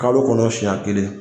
Kalo kɔnɔ siɲɛ kelen